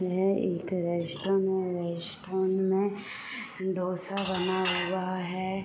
यह एक रेस्टोरेंट है रेस्टोरेंट में ढोसा बना हुआ है।